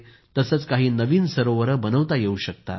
तसेच काही नवीन सरोवर बनविता येवू शकतील